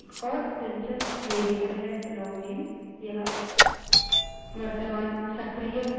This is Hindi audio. निर्देशिका directory को देखें अब यहाँ मौजूद है